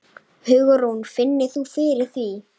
Hugrún: Finnur þú fyrir því?